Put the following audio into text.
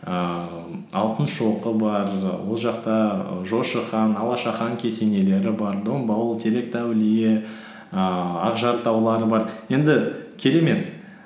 ііі алтын шоқы бар ол жақта жошы хан алаша хан кесенелері бар домбауыл теректі әулие ііі ақжар таулары бар енді керемет